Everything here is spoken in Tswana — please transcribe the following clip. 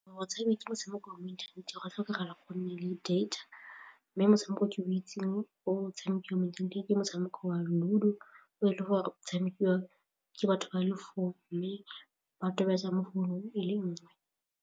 Gore o tshameke motshameko wa mo inthaneteng go tlhokagala gore go nne le data mme motshameko o ke mo itseng o tshamekiwa mo inthaneteng ke motshameko wa Ludo o e le gore o tshamekiwa ke batho ba le four mme ba tobetsa mo founung e le nngwe.